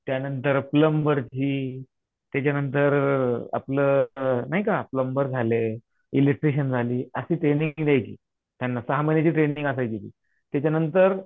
त्यानंतर प्लम्बर ही त्याच्यानंतर आपलं नाही का प्लम्बर झाले, इलेक्ट्रिशियन झाले अशी ट्रेनिंग द्यायची त्यांना सहा महिन्याची ट्रेनिंग असायची ती त्याच्यानंतर